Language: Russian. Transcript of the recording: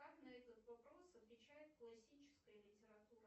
как на этот вопрос отвечает классическая литература